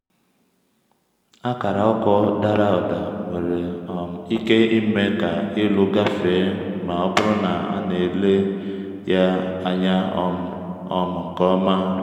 akara ọkụ dara ụda nwere um ike ime ka ịlụ gafee ma ọ bụrụ na a na-ele ya anya um um nke ọma.